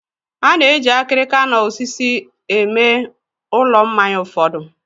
A na-eji akịrịka na osisi eme ulọ mmanya ụfọdụ.